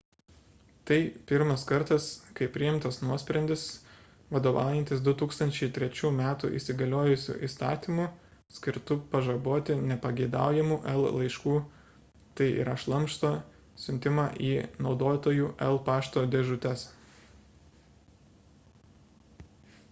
tai pirmas kartas kai priimtas nuosprendis vadovaujantis 2003 m įsigaliojusiu įstatymu skirtu pažaboti nepageidaujamų el laiškų tai yra šlamšto siuntimą į naudotojų el pašto dėžutes